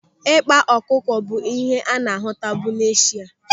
Ịkpa ọkụkọ bụ ihe a na-ahụtabu n'Eshia.